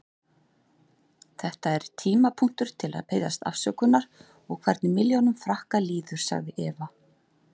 Þetta er tímapunktur til að biðjast afsökunar og hvernig milljónum Frakka líður, sagði Evra.